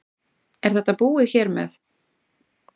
Er þetta búið hér með?